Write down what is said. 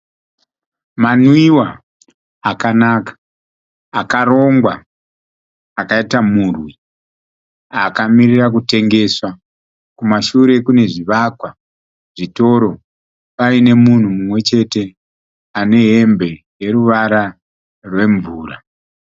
Manwiwa akanaka akarongwa akaita murwi, akamirira kutengeswa. Kumashure kune zvivakwa zvitoro, paine munhu mumwechete ane hembe yeruvara rwemvura.